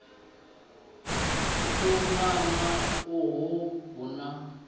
u tumana uhu hu na